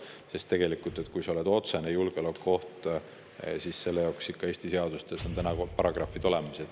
Kui sa tegelikult oled otsene julgeolekuoht, siis selle jaoks on Eesti seadustes paragrahvid olemas.